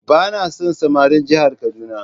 Ba na son samarin jihar kaduna.